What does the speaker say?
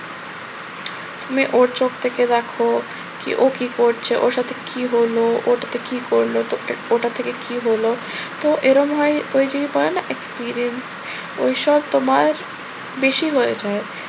তুমি ওর চোখ থেকে দেখো। ও কি করছে, ওর সাথে কি হলো, ও ওটাতে কি করলো, তো ওটা থেকে কি হলো, তো এরম হয় ওই যে বলে না experience ওইসব তোমার বেশি হয়ে যায়।